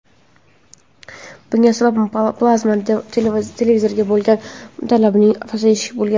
Bunga sabab plazma televizorlariga bo‘lgan talabning pasayishi bo‘lgan.